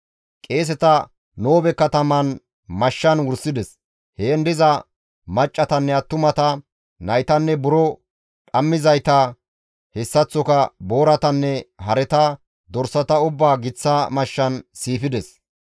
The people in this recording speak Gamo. Qeeseta Noobe katamaan mashshan wursides; heen diza maccassatanne attumata, naytanne buro dhammizayta, hessaththoka booratanne hareta, dorsata ubbaa giththa mashshan siifides.